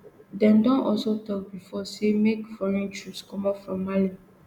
dem don also tok bifor say make foreign troops comot from mali